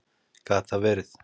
Gat það verið?